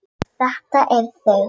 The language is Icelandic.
Og þetta eru þau.